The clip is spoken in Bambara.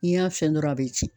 N'i y'a fɛn dɔrɔn a bi ci.